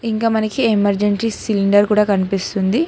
ఇంక మనకి emergency cylinder కనిపిస్తుంది.